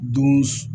Don